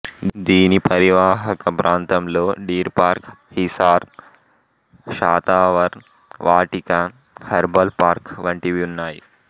దీని పరివాహక ప్రాంతంలో deer park Hisar Shatavar Vatika herbal park వంటివి ఉన్నాయి